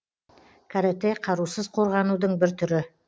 каратэ қарусыз қорғанудың бір түрі